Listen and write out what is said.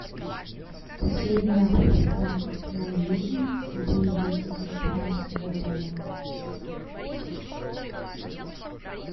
последний охотник на ведьм боевик две тысячи пятнадцатого года